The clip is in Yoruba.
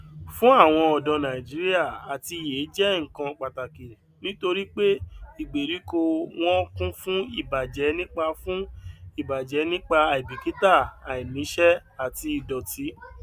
fún àwon ọdọ nàìjíríà àtiyè jẹ nnkan pàtàkì nítorí pé ìgbèríko wọn kún fún ìbàjẹ nípa fún ìbàjẹ nípa àìbìkítà àìníṣẹ àti ìdòtí